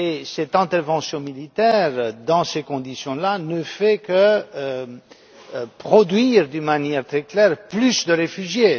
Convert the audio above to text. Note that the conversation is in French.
Cette intervention militaire, dans ces conditions, ne fait que produire, d'une manière très claire, plus de réfugiés.